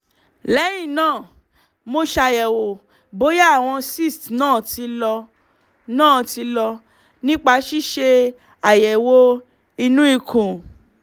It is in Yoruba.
lẹ́yìn náà mo ṣàyẹ̀wò bóyá àwọn cysts náà ti lọ náà ti lọ nípa ṣíṣe àyẹ̀wò inú ikùn